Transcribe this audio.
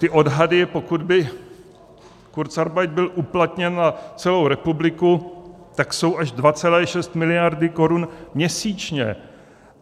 Ty odhady, pokud by kurzarbeit byl uplatněn na celou republiku, jsou až 2,6 miliardy korun měsíčně.